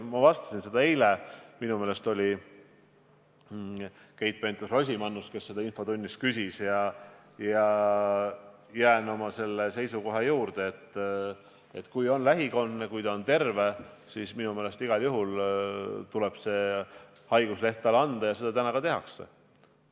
Ma vastasin sellele eile – minu meelest oli see Keit Pentus-Rosimannus, kes seda infotunnis küsis – ja jään oma seisukoha juurde, et kui tegemist on viirusekandja lähikondsega ja ta on terve, siis minu meelest tuleb see haigusleht talle igal juhul anda ja seda täna ka tehakse.